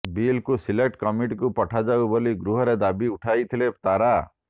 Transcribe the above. ବିଲ୍କୁ ସିଲେକ୍ଟ କମିଟିକୁ ପଠାଯାଉ ବୋଲି ଗୃହରେ ଦାବି ଉଠାଇଥିଲେ ତାରା